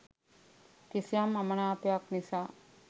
කිසියම් අමනාපයක් නිසා